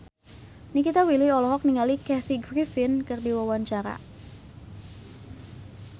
Nikita Willy olohok ningali Kathy Griffin keur diwawancara